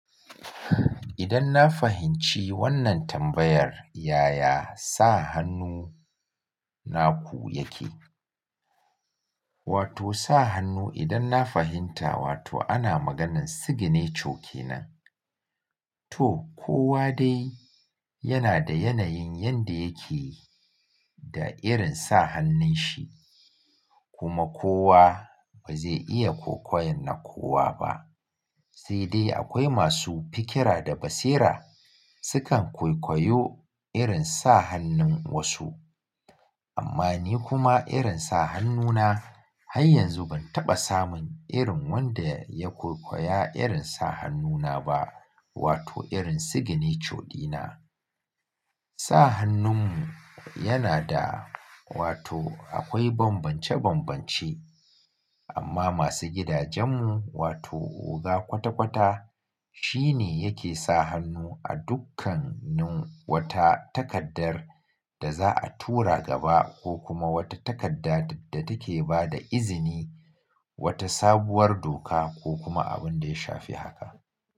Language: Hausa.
Idan na fahimci wannan tambayar, yaya sa hannu naku yake? Wato sa hannu idan na fahimta, wato ana maganan signature kenan. To kowa dai yana da yanayin yanda yake da irin sa hannun shi kuma kowa ba zai iya kwaikwayon na kowa ba. Sai dai akwai masu fikira da basira sukan kwaikwayo irin sa hannun wasu. Amma ni kuma irin sa hannuna har yanzu ban taɓa samun irin wanda ya kwaikwaya irin sa hannuna ba. Wato irin signature dina. Sa hannunmu yana da wato akwai bambance-bambance. Amma masu gidajenmu wato oga kwata-kwata shine yake sa hannu a dukkanin wata takardar da za a tura gaba ko kuma wata takarda da take bada izini wata sabuwar doka ko kuma abun da ya shafi haka.